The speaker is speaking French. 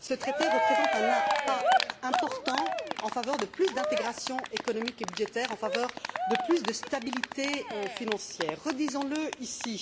Ce traité représente un pas important en faveur de plus d'intégration économique et budgétaire, en faveur de plus de stabilité financière. Redisons le ici.